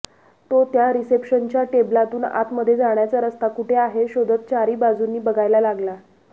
तो त्या रिसेप्शनच्या टेबलातून आतमध्ये जाण्याचा रस्ता कुठे आहे शोधत चारी बाजूंनी बघायला लागला